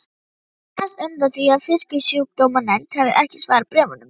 annars undan því að Fisksjúkdómanefnd hefði ekki svarað bréfum mínum.